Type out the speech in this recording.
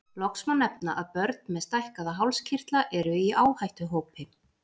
Loks má nefna að börn með stækkaða hálskirtla eru í áhættuhópi.